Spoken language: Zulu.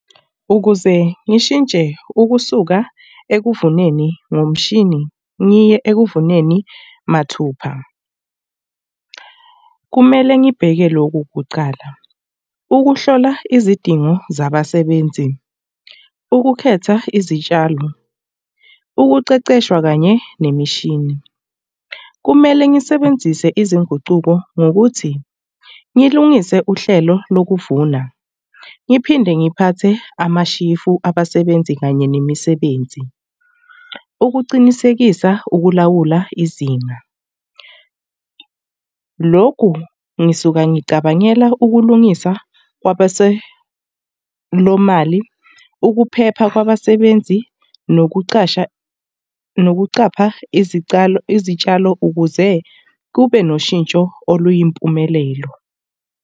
Ukuze ngishintshe ukusuka ekuvuneni ngomshini ngiye ekuvuneni mathupha. Kumele ngibheke loku kucala. Ukuhlola izidingo zabasebenzi, ukukhetha izitshalo, ukuqeqeshwa kanye nemishini. Kumele ngisebenzise izinguquko ngokuthi ngilungise uhlelo lokuvuna, ngiphinde ngiphathe amashifu abasebenzi kanye nemisebenzi. Ukuqinisekisa ukulawula izinga. Lokhu ngisuka ngicabangela ukulungisa kwabasebemali. Ukuphepha kwabasebenzi nokuqasha nokuqapha izicalo, izitshalo ukuze kube noshintsho oluyimpumelelo.